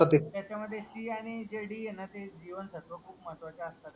त्याच्यामध्ये C आणि जे D आहे ना ते जीवनसत्व खूप महत्त्वाचे असतात.